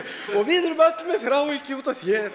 og við erum öll með þráhyggju út af þér